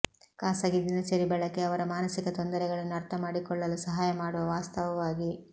ಖಾಸಗಿ ದಿನಚರಿ ಬಳಕೆ ಅವರ ಮಾನಸಿಕ ತೊಂದರೆಗಳನ್ನು ಅರ್ಥಮಾಡಿಕೊಳ್ಳಲು ಸಹಾಯ ಮಾಡುವ ವಾಸ್ತವವಾಗಿ